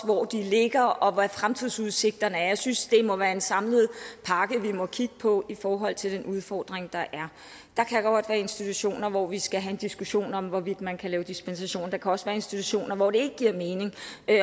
hvor de ligger og hvad fremtidsudsigterne er jeg synes det må være en samlet pakke vi må kigge på i forhold til den udfordring der er der kan godt være institutioner hvor vi skal have en diskussion om hvorvidt man kan lave dispensation der kan også være institutioner hvor det ikke giver mening og